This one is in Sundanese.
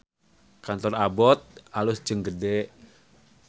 Kantor Abbot alus jeung gede